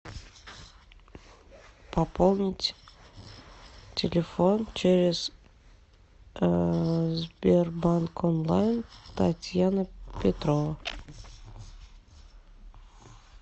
пополнить телефон через сбербанк онлайн татьяна петрова